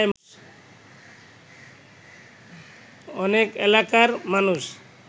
অনেক এলাকার মানুষ